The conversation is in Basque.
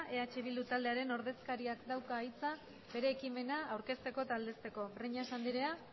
eh bilduren ordezkariak dauka hitza bere ekimena aurkezteko eta aldezteko breñas anderea